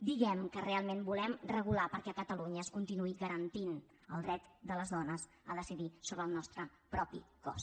diguem que realment volem regular perquè a catalunya es continuï garantint el dret de les dones a decidir sobre el nostre propi cos